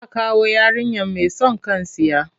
Za a kawo yarinyar mai son kan tsiya.